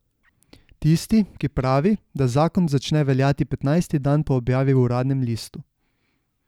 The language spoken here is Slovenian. Tisti, ki pravi, da zakon začne veljati petnajsti dan po objavi v uradnem listu.